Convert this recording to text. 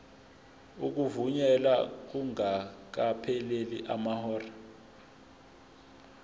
ukuvunyelwa kungakapheli amahora